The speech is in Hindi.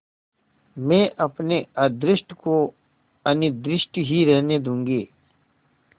मैं अपने अदृष्ट को अनिर्दिष्ट ही रहने दूँगी